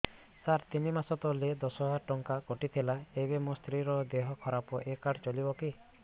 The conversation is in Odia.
ସାର ତିନି ମାସ ତଳେ ଦଶ ହଜାର ଟଙ୍କା କଟି ଥିଲା ଏବେ ମୋ ସ୍ତ୍ରୀ ର ଦିହ ଖରାପ ଏ କାର୍ଡ ଚଳିବକି